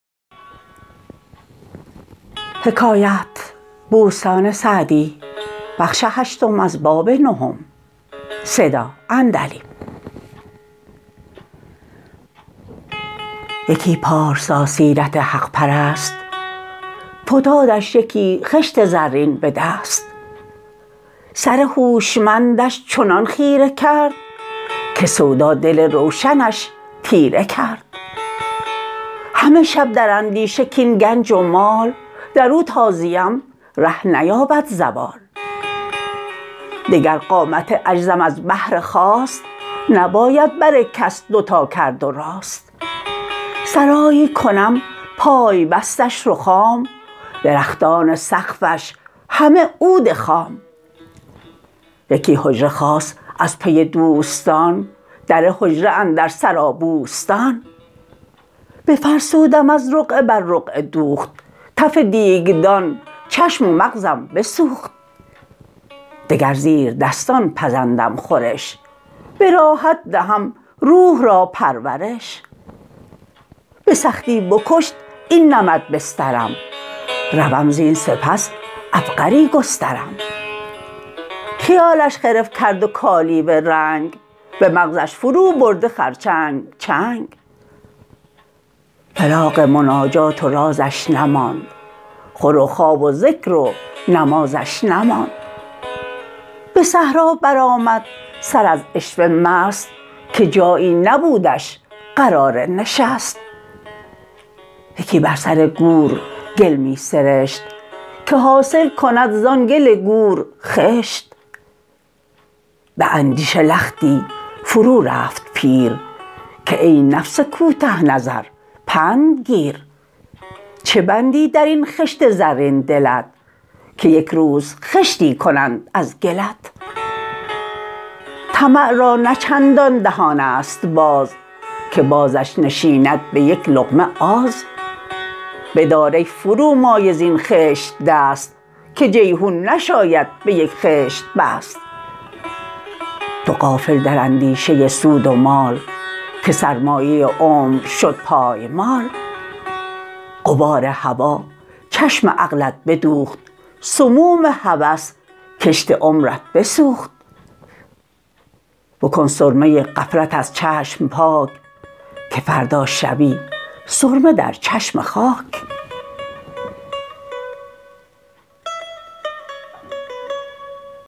یکی پارسا سیرت حق پرست فتادش یکی خشت زرین به دست سر هوشمندش چنان خیره کرد که سودا دل روشنش تیره کرد همه شب در اندیشه کاین گنج و مال در او تا زیم ره نیابد زوال دگر قامت عجزم از بهر خواست نباید بر کس دوتا کرد و راست سرایی کنم پای بستش رخام درختان سقفش همه عود خام یکی حجره خاص از پی دوستان در حجره اندر سرا بوستان بفرسودم از رقعه بر رقعه دوخت تف دیگدان چشم و مغزم بسوخت دگر زیردستان پزندم خورش به راحت دهم روح را پرورش به سختی بکشت این نمد بسترم روم زین سپس عبقری گسترم خیالش خرف کرد و کالیوه رنگ به مغزش فرو برده خرچنگ چنگ فراغ مناجات و رازش نماند خور و خواب و ذکر و نمازش نماند به صحرا برآمد سر از عشوه مست که جایی نبودش قرار نشست یکی بر سر گور گل می سرشت که حاصل کند زآن گل گور خشت به اندیشه لختی فرو رفت پیر که ای نفس کوته نظر پند گیر چه بندی در این خشت زرین دلت که یک روز خشتی کنند از گلت طمع را نه چندان دهان است باز که بازش نشیند به یک لقمه آز بدار ای فرومایه زین خشت دست که جیحون نشاید به یک خشت بست تو غافل در اندیشه سود و مال که سرمایه عمر شد پایمال غبار هوا چشم عقلت بدوخت سموم هوس کشت عمرت بسوخت بکن سرمه غفلت از چشم پاک که فردا شوی سرمه در چشم خاک